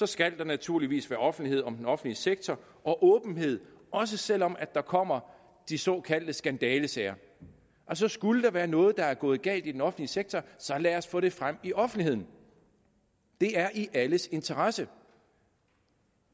skal der naturligvis være offentlighed om den offentlige sektor og åbenhed også selv om der kommer de såkaldte skandalesager skulle der være noget der er gået galt i den offentlige sektor så lad os få det frem i offentligheden det er i alles interesse